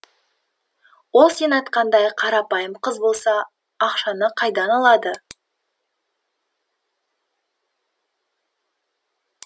ол сен айтқандай қарапайым қыз болса ақшаны қайдан алады